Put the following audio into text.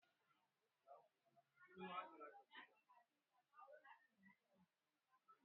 Ba zan iya yin tafiya zuwa kasuwa da ranar ga ba.